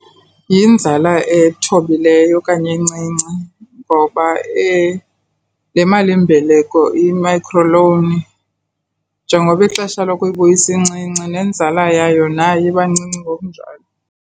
Yinzala ethobileyo okanye encinci, ngoba le malimbeleko, i-microloan, njengoba ixesha lokuyibuyisa incinci nenzala yayo nayo iba ncinci ngokunjalo.